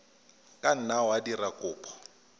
ka nna wa dira kopo